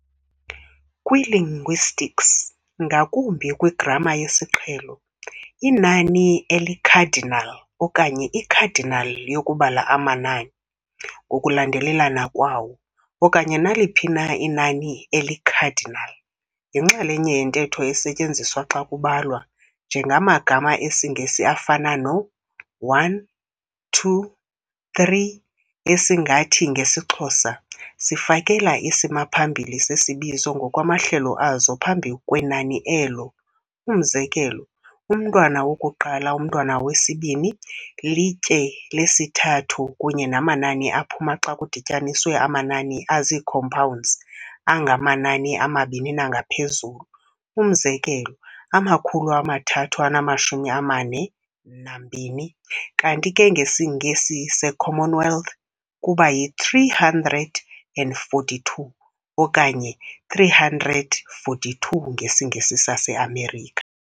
Kwi-linguistics, ngakumbi kwigrama yesiqhelo, inani eli-cardinal okanye i-cardinal yokubala amanai ngokulandelelana kwawo, okanye naliphi na inani eli-cardinal, yinxalenye yentetho esetyenziswa xa kubalwa, njengamagama esiNgesi afana no-'one', 'two', 'three', esingathi ngesiXhosa, sifakela isimaphambili sesibizo ngokwamahlelo azo phambi kwenani elo umz - umntwana woku-1, umntwana wesi-2, litye lesi-3, kunye namanani aphuma xa kudityaniswe amanani azii-compounds angamanani amabini nangaphezulu umz - amakhulu amathathu anamashumi amane nambini, kanti ke ngesiNgesi, se"Commonwealth, kuba yi-"three hundred and forty-two" okanye" three hundred forty-two, ngesiNgesi saseAmerica.